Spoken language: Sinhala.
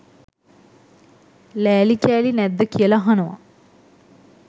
ලෑලි කෑලි නැද්ද කියලා අහනවා